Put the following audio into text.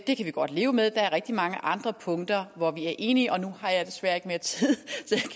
det kan vi godt leve med der er rigtig mange andre punkter hvor vi er enige og nu har jeg desværre ikke mere tid